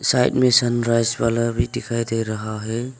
Admission rice वाला भी दिखाई दे रहा है।